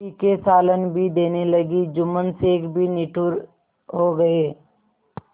तीखे सालन भी देने लगी जुम्मन शेख भी निठुर हो गये